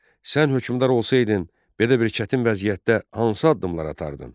Sən hökmdar olsaydın, belə bir çətin vəziyyətdə hansı addımlar atardın?